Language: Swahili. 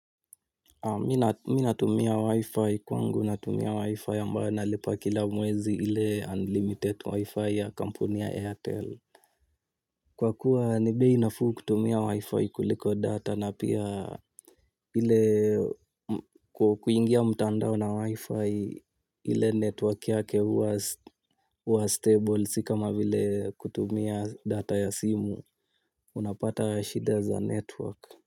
Mi natumia wi-fi kwangu natumia wi-fi ambayo analipa kila mwezi ile unlimited wi-fi ya kampuni ya airtel. Kwa kuwa nibei nafuu kutumia wi-fi kuliko data na pia ile kuingia mtandao na wi-fi ile network yake huwa stable si kama vile kutumia data ya simu, unapata shida za network.